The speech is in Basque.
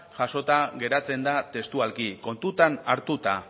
jasota geratzen da testualki kontuan hartuta